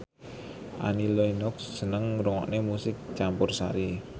Annie Lenox seneng ngrungokne musik campursari